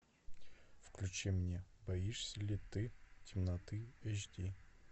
включи мне боишься ли ты темноты эйч ди